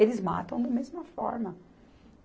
Eles matam da mesma forma.